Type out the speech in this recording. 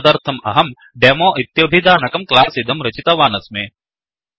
तदर्थम् अहं Demoडेमोइत्यभिधानकं क्लास् इदं रचितवानस्मि